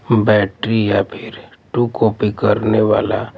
battery या फिर टू कॉपी करने वाला--